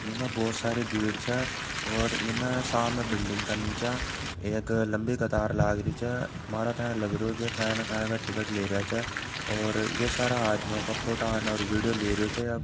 ऐम बहुत सारे भीड़ छा और ऐमा सामने बिल्डिंग का नीचा एक लम्बी कतार लगराइ छै टिकट लैरै छै और ये सारा आदमियों का फोटो औना वीडियो लेरा छै।